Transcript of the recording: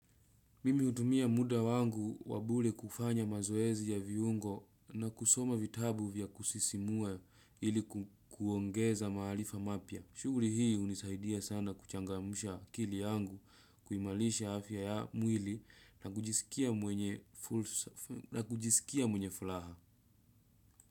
Mimi hutumia muda wangu wa bure kufanya mazoezi ya viungo na kusoma vitabu vya kusisimua ili ku kuongeza maarifa mapya. Shughuri hii hunisaidia sana kuchangamsha akili yangu kuimalisha afya ya mwili na kujiskia mwenye na kujisikia mwenye fulaha.